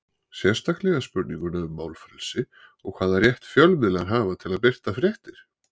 Sérstaklega spurninguna um málfrelsi og hvaða rétt fjölmiðlar hafa til að birta fréttir?